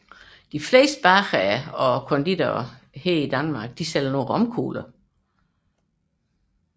De fleste bagere og konditorer i Danmark sælger romkugler